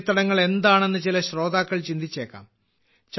തണ്ണീർത്തടങ്ങൾ എന്താണെന്ന് ചില ശ്രോതാക്കൾ ചിന്തിച്ചേക്കാം